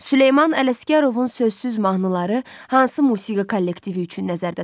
Süleyman Ələsgərovun sözsüz mahnıları hansı musiqi kollektivi üçün nəzərdə tutulub?